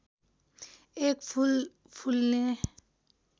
एक फूल फुल्ने